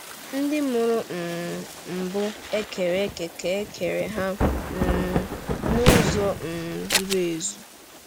Ndị mụrụ um mbụ e kere eke ka e kere ha um n’uzo um zuru ezu.